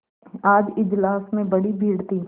आज इजलास में बड़ी भीड़ थी